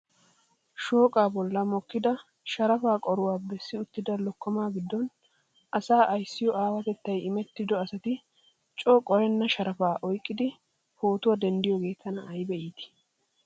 Shooqqaa bolli mokkidi sharafa qoro bessi uttida lokomaa gidoon asaa ayssiyo awaatettay immettido asati coo qorenna sharafaa oyqqidi pootuwaa dendd'iyoogee tana ayba iittii!!